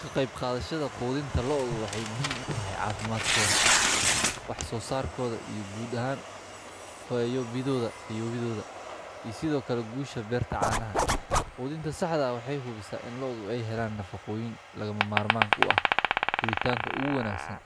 Ka qeyb qaadashada quudinta looda waxeey muhiim utahay cafimaadkooda, wax soo saarkooda iyo guud ahaan fiyoobidooda, iyo sido kale guusha beerta caanaha, quudinta saxda waxeey hubisaa in looda aay helaan nafaqooyin lagama maarmaan u ah, koritaanka oogu wanagsan,